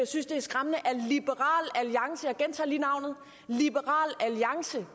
synes det er skræmmende at liberal alliance jeg gentager lige navnet liberal alliance